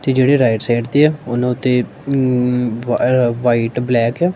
ਤੇ ਜਿਹੜੇ right side ਤੇ ਆ ਉਹਨੂੰ ਤੇ ਵਾਈਟ ਬਲੈਕ ਆ।